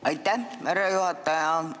Aitäh, härra juhataja!